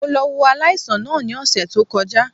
Mo lọ wo aláìsàn náà ní òsè tó kọjá